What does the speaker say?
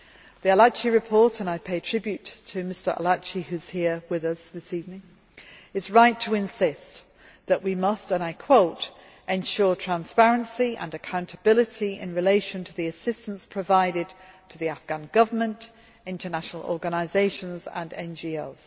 The Arlacchi Report and I pay tribute to Mr Arlacchi, who is here with us this evening is right to insist that we must, and I quote ensure transparency and accountability in relation to the assistance provided to the Afghan Government, international organisations and NGOs'.